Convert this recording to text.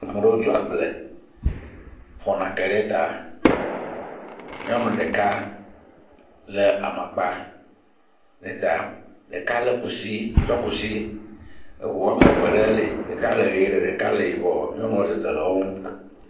Ame aɖewo tso agble fɔ nake ɖe ta. Nyɔnu ɖeka le amakpa ɖe ta. Ɖeka le kusi tsɔ kusi. Eŋu ame eve ɖe li. Ɖeka le ʋi, ɖeka le yibɔ. Nyɔnuwo le dzedzem le wo ŋu.